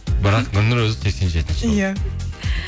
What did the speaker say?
бірақ гүлнұр өзі сексен жетінші жылғы иә